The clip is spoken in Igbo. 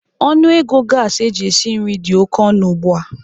Ọnụ ego gasi eji esi nri dị oke ọnụ ugbu a.